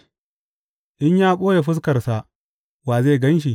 In ya ɓoye fuskarsa, wa zai gan shi?